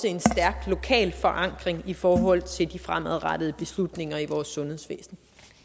en stærk lokal forankring i forhold til de fremadrettede beslutninger i vores sundhedsvæsen